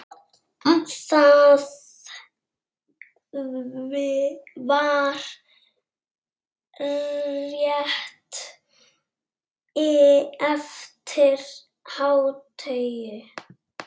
Það var rétt eftir hádegi.